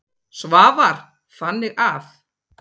Svavar: Þannig að.